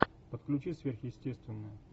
подключи сверхъестественное